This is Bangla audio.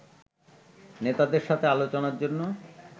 নেতাদের সাথে আলোচনার জন্য